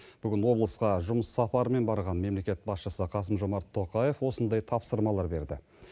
бүгін облысқа жұмыс сапарымен барған мемлекет басшысы қасым жомарт тоқаев осындай тапсырмалар берді